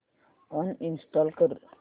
uninstall कर